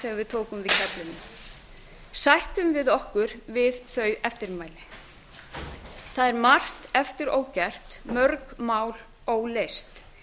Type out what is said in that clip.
þegar við tókum við keflinu sættum við okkur við þau eftirmæli það er margt eftir ógert mörg mál óleyst